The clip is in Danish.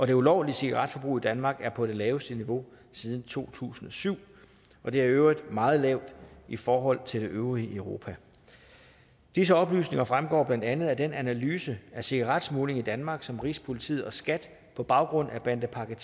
det ulovlige cigaretforbrug i danmark er på det laveste niveau siden to tusind og syv og det er i øvrigt meget lavt i forhold til det øvrige europa disse oplysninger fremgår blandt andet af den analyse af cigaretsmugling i danmark som rigspolitiet og skat på baggrund af bandepakke